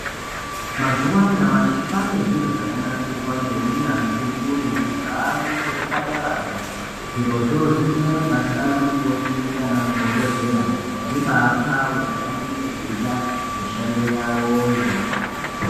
Mazuwa anyamashi kwaane zviro zvakanasirwa ngeunyanzvi ukurutu zvaamwo muzvipataramwo zvirozvo zvinoite kuti basa rana mukoti nana mudhokodheya ribaa pfawe pavanenge veiita mishando yawoyo.